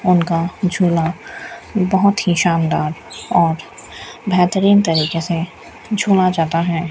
उनका झूला बहुत ही शानदार और बेहतरीन तरीके से झूला जाता है।